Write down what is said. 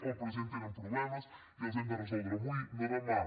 en el present tenen problemes i els hem de resoldre avui no demà